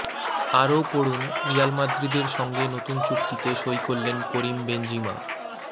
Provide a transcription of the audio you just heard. আরও পড়ুন রিয়াল মাদ্রিদের সঙ্গে নতুন চুক্তিতে সই করলেন করিম বেঞ্জিমা